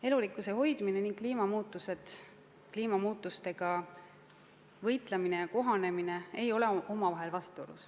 Elurikkuse hoidmine ning kliimamuutustega võitlemine ja kohanemine ei ole omavahel vastuolus.